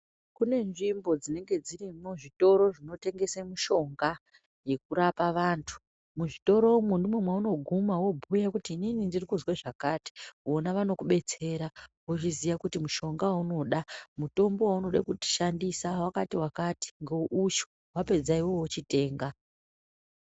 Kune nzvimbo dzinenge dziri mu zvitoro zvinotengese mishonga yekurapa vantu mwu zvitoro mwo ndimo mwauno guma wobhuya kuti inini ndiri kuzwe zvakati vona vanoku betsera wo zviziya kuti mushonga waunoda mutombo waunoda kushandisa wakati wakati nge uyu wapedza iwewe wo chitenga.